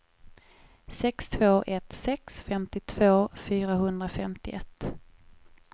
sex två ett sex femtiotvå fyrahundrafemtioett